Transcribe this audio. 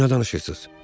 Siz nə danışırsınız?